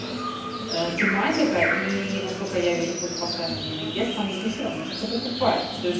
тематика и насколько я вижу под постами алины гес там люди всё равно что-то покупают то есть